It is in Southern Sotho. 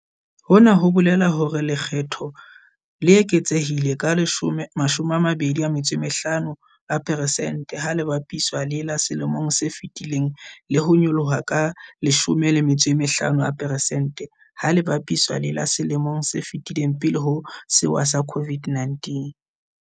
Hona ho bolela hore lekge tho le le eketsehile ka 25 a peresente ha le bapiswa le la selemong se fetileng le ho nyolloha ka 15 a peresente ha le bapiswa le la selemong se fetileng pele ho sewa sa COVID-19.